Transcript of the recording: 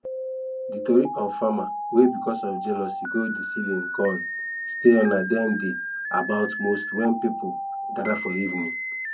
dat tori of farmer wey because of jealousy go deceive him corn still na dem dey about most wen people gather for evening